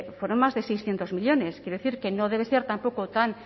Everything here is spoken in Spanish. fueron más de seiscientos millónes quiero decir que no debe ser tampoco tan